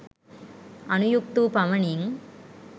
අනුයුක්ත වූ පමණින්